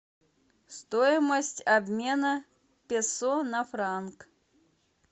стоимость обмена песо на франк